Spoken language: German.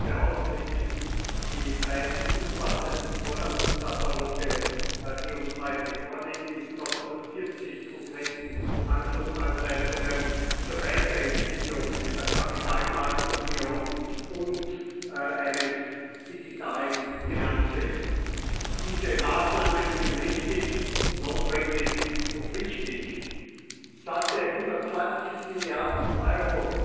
Ich begrüße ausdrücklich die beiden umfassenden Forderungskataloge, die uns heute vorliegen, mit über 140 konkreten Handlungsanleitungen zur Weiterentwicklung der Kapitalmarktunion und eines digitalen Finanzwesens. Diese Maßnahmen sind richtig, notwendig und wichtig. Satte 120 Milliarden Euro